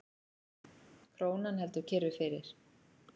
Krónan heldur kyrru fyrir